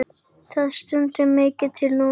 Það stendur mikið til núna.